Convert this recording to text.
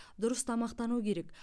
дұрыс тамақтану керек